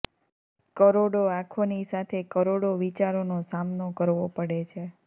કરોડો આંખોની સાથે કરોડો વિચારોનો સામનો કરવો પડે છે